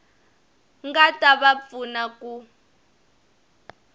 nga ta va pfuna ku